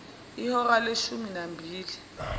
ihora leshumi nambili